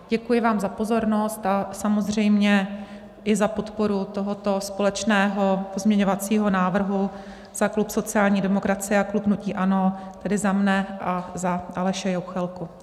Děkuji vám za pozornost a samozřejmě i za podporu tohoto společného pozměňovacího návrhu za klub sociální demokracie a klub hnutí ANO, tedy za mne a za Aleše Juchelku.